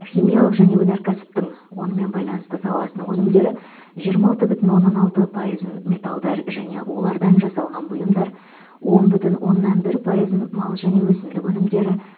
химиялық және өнеркәсіптің онымен байланысты саласының өнімдері жиырма алты бүтін оннан алты пайызын металдар және олардан жасалған бұйымдар он бүтін оннан бір пайызын мал және өсімдік өнімдері